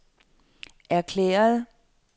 erklærede